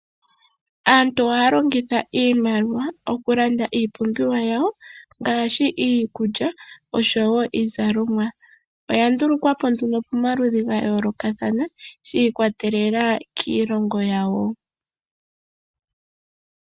Aantu ohaya longitha iimaliwa okulanda iipumbiwa yawo ngaashi iikulya oshowo iizalomwa. Oyandulukwa po nduno pomaludhi ga yoolokathana shi ikwatelela kiilongo yawo.